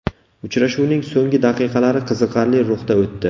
Uchrashuvning so‘nggi daqiqalari qiziqarli ruhda o‘tdi.